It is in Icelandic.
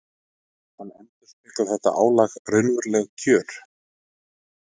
En endurspeglar þetta álag raunveruleg kjör?